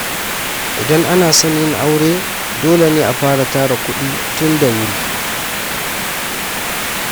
Idan ana son yin aure, dole ne a fara tara kuɗi tun da wuri.